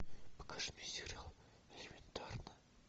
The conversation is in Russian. покажи мне сериал элементарно